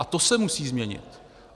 A to se musí změnit.